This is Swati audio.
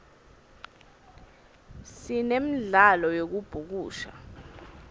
sinemdlalo yekubhukusha